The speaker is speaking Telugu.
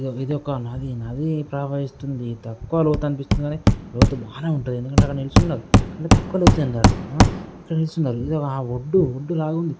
నది నది ప్రవహిస్తుంది. తక్కువ లోతు అనిపిస్తుంది కానీ లోతు బాగానే ఉంటది. ఎందుకంటే అక్కడ నిల్చున్నారు. తక్కువ లోతు ఉంది. అక్కడ ఆ నిల్చున్నారు. ఆ ఒడ్డు-ఒడ్డు లాగుంది.